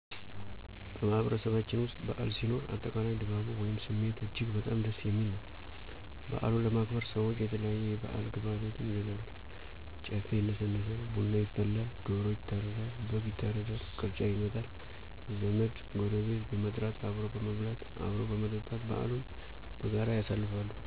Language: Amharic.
በማህበረሰባችን ውስጥ በዓል ሲኖር፣ አጠቃላይ ድባቡ ወይም ስሜቱ እጅግ በጣም ደስ የሚል ነው። በዓሉን ለማክበር ሰዎች የተለያዩ የበዓል ግብዓቶችን ይገዛሉ፣ ጨፌ ይነሰነሳል፣ ቡና ይፈላል፣ ዶሮ ይታረዳል፣ በግ ይታረዳል፣ ቅርጫ ይመጣል፣ ዘመድ፣ ጎረቤት በመጥራት አብሮ በመብላት፣ አብሮ በመጠጣት በዓሉን በጋራ ያሳልፋሉ።